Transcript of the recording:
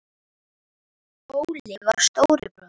Óli var stóri bróðir.